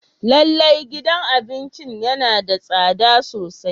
Lallai gidan abincin yana da tsada sosai.